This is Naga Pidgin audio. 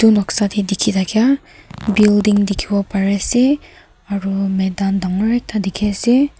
noksa teh dikhi thakia building dikhibo pare ase aru maidan dangor ekta dikhi ase.